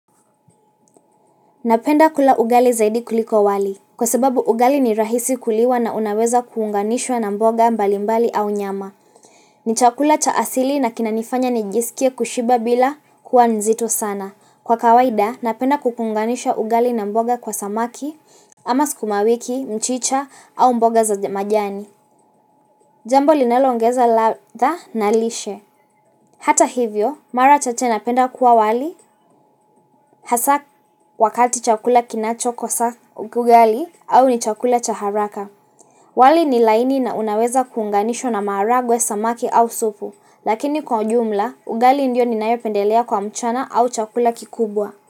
Napenda kula ugali zaidi kuliko wali. Kwasababu ugali ni rahisi kuliwa na unaweza kuunganishwa na mboga mbalimbali au nyama. Ni chakula cha asili na kinanifanya nijisikia kushiba bila kuwa nzito sana. Kwa kawaida, napenda kuunganisha ugali na mboga kwa samaki, ama sikumawiki, mchicha au mboga za majani. Jambo linaloongeza ladha na lishe. Hata hivyo, mara chache napenda kula wali, hasa wakati chakula kinachokosa ugali au ni chakula cha haraka. Wali ni laini na unaweza kuunganishwa na maharagwe, samaki au supu, lakini kwa ujumla, ugali ndiyo ninayopendelea kwa mchana au chakula kikubwa.